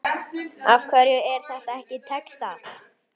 Af hverju er þetta ekki textað?